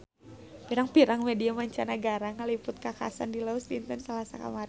Pirang-pirang media mancanagara ngaliput kakhasan di Laos dinten Salasa kamari